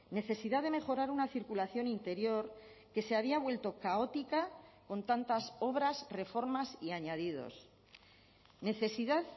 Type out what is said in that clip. necesidad de mejorar una circulación interior que se había vuelto caótica con tantas obras reformas y añadidos necesidad